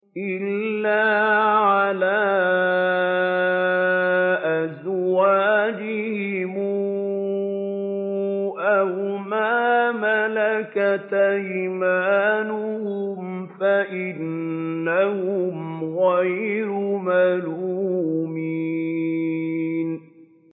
إِلَّا عَلَىٰ أَزْوَاجِهِمْ أَوْ مَا مَلَكَتْ أَيْمَانُهُمْ فَإِنَّهُمْ غَيْرُ مَلُومِينَ